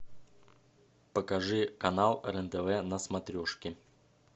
покажи канал рен тв на смотрешке